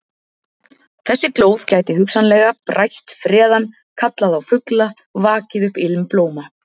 Þessi glóð gæti hugsanlega brætt freðann, kallað á fugla, vakið upp ilm blóma.